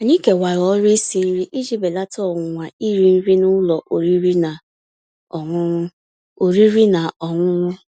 Ànyị́ kèwàrà ọ̀rụ́ ísi nrí íji bèlàtà ọ̀nwụ̀nwa írì nrí n'ụ́lọ̀ ọ̀rị́rị́ ná ọ̀ṅụ̀ṅụ̀. ọ̀rị́rị́ ná ọ̀ṅụ̀ṅụ̀.